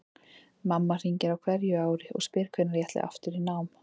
Mamma hringir á hverju ári og spyr hvenær ég ætli aftur í nám.